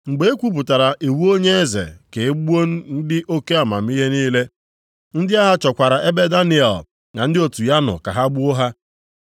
Mgbe e kwupụtara iwu onye eze ka e gbuo ndị oke amamihe niile, ndị agha chọkwara ebe Daniel na ndị otu ya nọ ka ha gbuo ha.